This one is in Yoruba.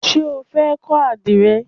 Ṣé o fẹ́ kọ́ àdìrẹ?